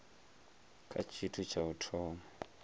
kha tshithu tsha u thoma